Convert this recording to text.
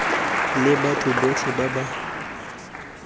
le batho botlhe ba ba